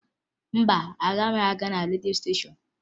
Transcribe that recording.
Mba, agaghị m aga na redio stéshọ̀n